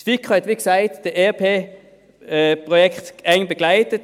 Die FiKo hat, wie gesagt, das ERP-Projekt eng begleitet.